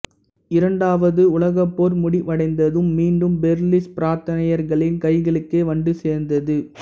இரண்டாவது உலகப் போர் முடிவடைந்ததும் மீண்டும் பெர்லிஸ் பிரித்தானியர்களின் கைகளுக்கே வந்து சேர்ந்தது